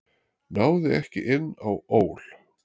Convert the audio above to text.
Náði ekki inn á ÓL